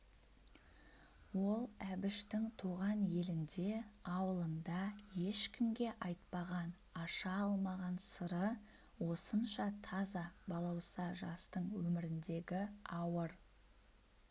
ол әбіштің туған елінде аулында ешкімге айтпаған аша алмаған сыры осынша таза балауса жастың өміріндегі ауыр